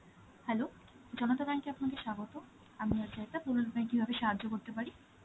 hello Janata bank এ আপনাকে স্বাগত. আমি কিভাবে সাহায্য করতে পারি?